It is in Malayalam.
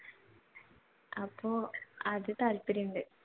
അപ്പൊ അത് താല്പര്യം ഉണ്ട്.